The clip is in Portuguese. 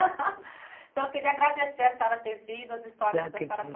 Então, eu queria agradecer a senhora ter vindo, as histórias que a senhora